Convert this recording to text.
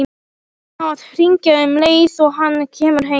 Hann á að hringja um leið og hann kemur heim.